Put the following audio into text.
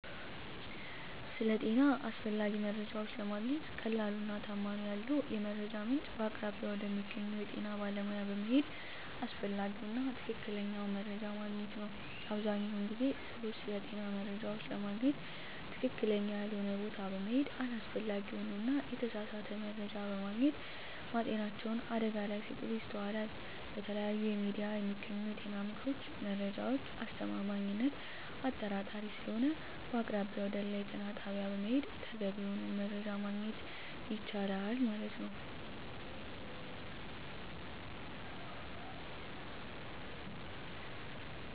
ስለ ጤና አስፈላጊ መረጃዎች ለማግኘት ቀላሉ እና ተአማኒነት ያለው የመረጃ ምንጭ በአቅራቢያው ወደሚገኘው የጤና ባለሙያዎች በመሄድ አስፈላጊውን እና ትክክለኛ ማግኝት ይቻላል አብዛኛውን ጊዜ ግን ሰወች ስለጤና መረጃዎች ለማግኝት ትክክለኛ ያልሆነ ቦታ በመሔድ አላስፈላጊ የሆነ እና የተሳሳተ መረጃ በማግኘት ማጤናቸውን አደጋ ላይ ሲጥሉ ይስተዋላል በተለያዩ የሚዲያ የሚገኙ የጤና ምክሮች መረጃዎች አስተማማኝነት አጣራጣሪ ሰለሆነ በአቅራቢያው ወደአለ የጤና ጣቢያ በመሔድ ተገቢ የሆነውን መረጃ ማግኘት የቻላል ማለት።